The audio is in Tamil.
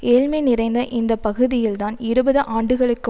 ஏழ்மை நிறைந்த இந்த பகுதியில்தான் இருபது ஆண்டுகளுக்கு